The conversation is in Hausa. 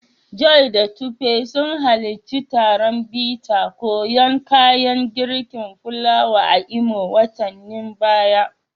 Joy da Tope sun halarci taron bita koyan kayan girkin fulawa a Imo watannin baya.